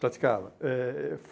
Praticava. Eh eu